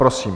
Prosím.